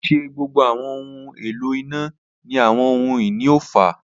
Kii ṣe gbogbo awọn ohun elo ina ni awọn ohun-ini oofa.